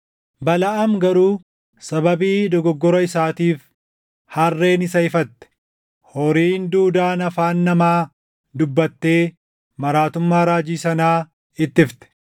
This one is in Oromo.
Balaʼaam garuu sababii dogoggora isaatiif harreen isa ifatte; horiin duudaan afaan namaa dubbattee maraatummaa raajii sanaa ittifte.